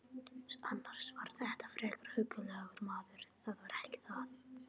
Annars var þetta frekar huggulegur maður, það var ekki það.